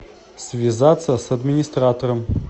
связаться с администратором